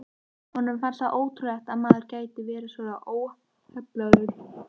Honum fannst það ótrúlegt að maður gæti verið svona óheflaður.